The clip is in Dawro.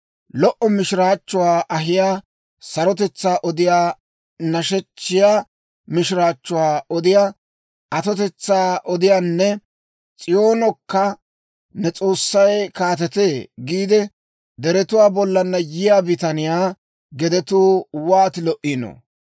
Lo"o mishiraachchuwaa ahiyaa, sarotetsaa odiyaa, nashechchiyaa mishiraachchuwaa odiyaa, atotetsaa odiyaanne, S'iyoonokka, «Ne S'oossay kaatetee» giidde deretuwaa bollaanna yiyaa bitaniyaa gedetuu wooti lo"ino!